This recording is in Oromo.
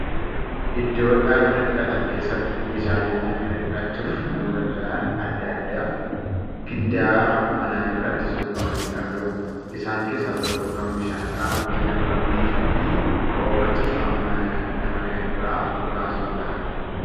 Iddoo dhaqna dhiqatan keessatti meeshaaleen dhaqna dhiqachuuf nama gargaaraan adda addaa giddaara manaa irratti suuqqamanii argamu. Isaan keessaa tokko kan bishaan qaamatti nama biifuu fi hoomacha saamunaa nama irraa baasuudha.